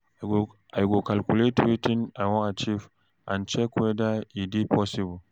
I go calculate wetin I wan achieve and check weda e dey possible